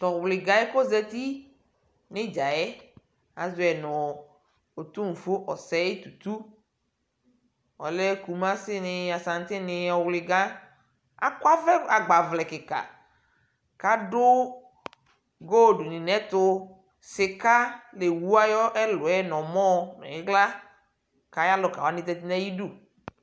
tʋɔwlika yɛ koƶati niɖƶaɛ aƶɔyi nʋ otʋnƒʋɔ osɛi tʋtʋ ɔlɛ kʋmʋsini asantini ɔwlika akɔ ɔvlɛ agbavlɛ kika ɖʋ NA sika lewʋ ayʋ ɛlʋɛ nʋ ɔmɔɛ ni iɣla ayalʋwani ƶati nayiƒʋ